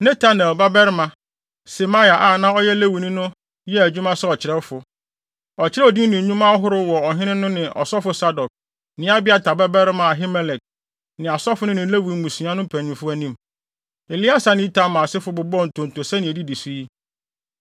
Netanel babarima Semaia a na ɔyɛ Lewini no yɛɛ adwuma sɛ ɔkyerɛwfo. Ɔkyerɛw din ne nnwuma ahorow wɔ ɔhene no ne ɔsɔfo Sadok ne Abiatar babarima Ahimelek ne asɔfo no ne Lewi mmusua no mpanyimfo anim. Eleasar ne Itamar asefo bobɔɔ ntonto sɛnea edidi so yi: